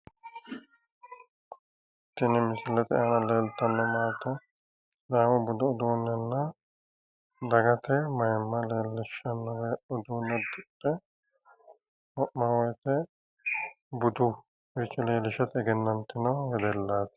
Tini misilete aana leeltanno maate sidaamu budu uduunnenna dagate mayiimma leellishshannore uduunne uddidhe wo'ma wooyiite buduuyiiricho leellishate egenantino wedellaati.